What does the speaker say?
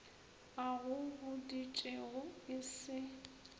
a go boditšego e se